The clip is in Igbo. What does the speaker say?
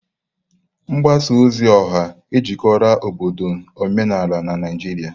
Mgbasa ozi ọha ejikọrọla obodo na omenala na Naijiria.